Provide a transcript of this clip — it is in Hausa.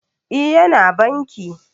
E, Yana banki